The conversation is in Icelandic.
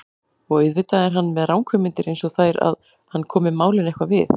Og auðvitað er hann með ranghugmyndir einsog þær að hann komi málinu eitthvað við.